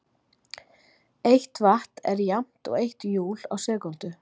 Eitt vatt er jafnt og eitt júl á sekúndu.